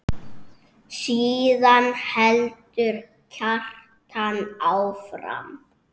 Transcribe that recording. Síðan heldur Kjartan áfram